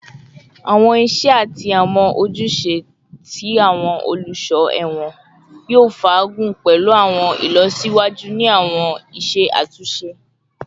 Awọn iṣẹ ati awọn ojuse ti awọn oluso ẹwọn yoo faagun pẹlu awọn ilọsiwaju ni awọn iṣe atunṣe